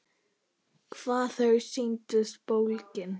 Hvað þau sýndust bólgin!